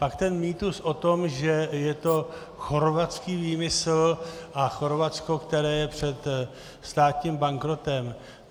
Pak ten mýtus o tom, že je to chorvatský výmysl a Chorvatsko, které je před státním bankrotem.